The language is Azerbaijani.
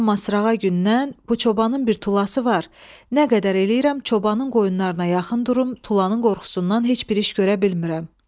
Amma sırağa gündən bu çobanın bir tulası var, nə qədər eləyirəm çobanın qoyunlarına yaxın durum, tulanın qorxusundan heç bir iş görə bilmirəm.